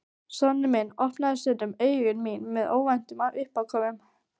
Sonur minn opnar stundum augu mín með óvæntum uppákomum.